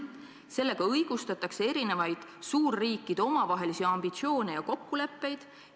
Sellega õigustatakse erinevaid suurriikide omavahelisi ambitsioone ja kokkuleppeid.